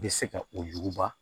Bɛ se ka o yuguba